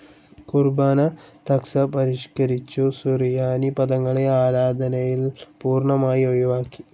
കുർബ്ബാന തക്സാ പരിഷ്കരിച്ചു, സുറിയാനി പദങ്ങളെ ആരാധനയിൽ പൂർണ്ണമായി ഒഴിവാക്കി